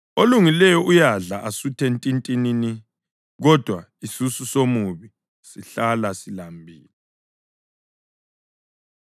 Olungileyo uyadla asuthe ntintinini, kodwa isisu somubi sihlala silambile.